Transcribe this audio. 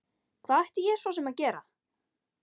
Hvað ætti ég svo sem að gera?